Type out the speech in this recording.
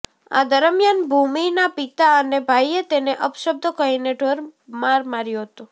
આ દરમિયાન ભૂમિના પિતા અને ભાઈએ તેને અપશબ્દો કહીને ઢોરમાર માર્યો હતો